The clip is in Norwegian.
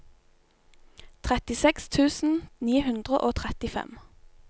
trettiseks tusen ni hundre og trettifem